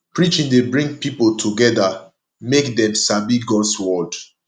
preaching dey bring pipo together mek dem sabi gods word